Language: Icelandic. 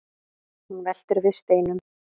hún veltir við steinum